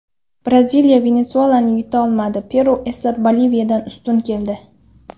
Braziliya Venesuelani yuta olmadi, Peru esa Boliviyadan ustun keldi.